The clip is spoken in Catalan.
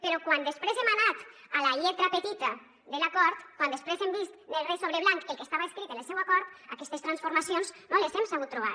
però quan després hem anat a la lletra petita de l’acord quan després hem vist negre sobre blanc el que estava escrit en el seu acord aquestes transformacions no les hem sabut trobar